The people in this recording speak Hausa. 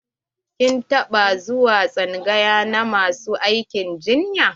Kin taɓa zuwa tsangaya na masu aikin injiniya?